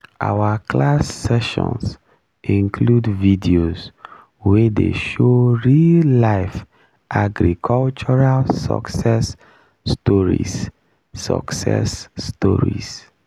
our classroom sessions include videos wey dey show real life agricultural success stories success stories